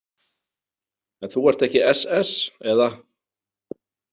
En þú ert ekki SS eða?